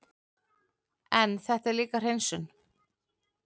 En þetta er líka hreinsun.